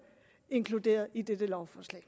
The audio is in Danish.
inkluderet i dette lovforslag